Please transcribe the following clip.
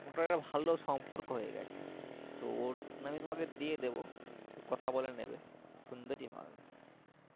মোটামুটি একটা ভালো সম্পর্ক হয়ে গেছে তো ওর number আমি তোমাকে দিয়ে দেবো তুমি কথা বলে নেবে সুন্দরই হবে